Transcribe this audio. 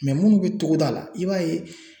munnu bɛ togoda la i b'a ye